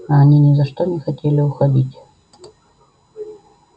а они ни за что не хотели уходить